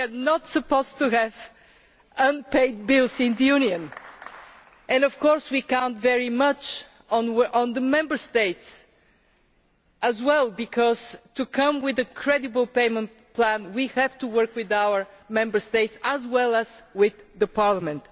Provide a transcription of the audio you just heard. We are not supposed to have unpaid bills in the Union, and of course we count very much on the Member States as well because, to come with a credible payment plan, we have to work with our Member States as well as with Parliament.